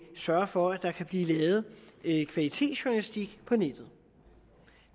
sørge for at der kan blive lavet kvalitetsjournalistik på nettet